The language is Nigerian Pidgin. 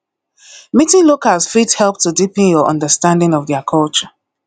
meeting locals fit help to deepen your understanding of their culture